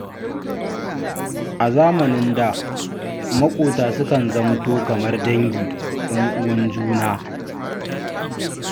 A zamanin da, maƙota sukan zamanto kamar dangi 'yan'uwan juna.